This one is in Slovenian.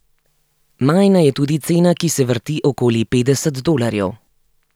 Majna je tudi cena, ki se vrti okoli petdeset dolarjev.